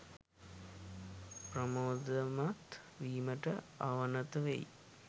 ප්‍රමෝදමත් වීමට අවනත වෙයි